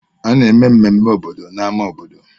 A na-eme mmemme obodo n'ámá obodo.